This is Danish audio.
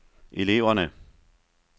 eleverne